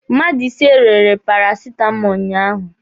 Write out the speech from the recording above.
Mmadụ ise rere parasitamọlụ ụnyaahụ.